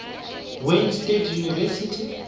wayne state university